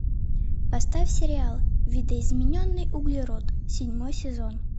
поставь сериал видоизмененный углерод седьмой сезон